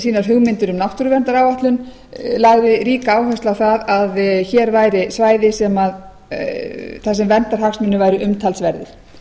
sínar hugmyndir um náttúruverndaráætlun lagði ríka áherslu á að hér væri svæði þar sem verndarhagsmunir væru umtalsverðir